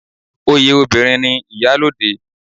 Oyè obìnrin ni iyalode